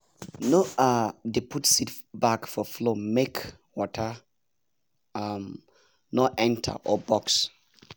no um dey put seed bag for floormake water um no enter or bugs